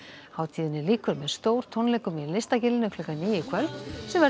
hátíðinni lýkur með stórtónleikum í Listagilinu klukkan níu í kvöld sem verður